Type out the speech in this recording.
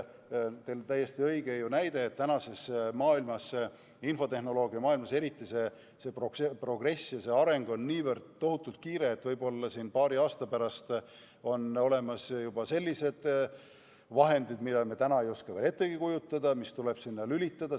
Teil oli täiesti õige näide, et tänapäeva maailmas, eriti infotehnoloogias, on progress ja areng on niivõrd kiire, et võib-olla on juba paari aasta pärast olemas sellised vahendid, mida me täna ei oska veel ettegi kujutada ja mis tuleks sinna lülitada.